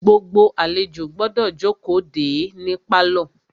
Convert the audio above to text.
Gbogbo àlejò gbọ́dọ̀ jókòó de é ní pálọ̀.